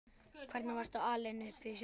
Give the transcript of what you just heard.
Hvernig varstu alin upp sjálf?